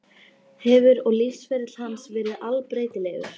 Hefur og lífsferill hans verið allbreytilegur.